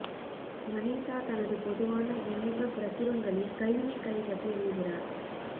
Vanessa தனது பொதுவான விண்ணப்பப் பிரசுரங்களில் கைவினைக் கலை பற்றி எழுதுகிறார்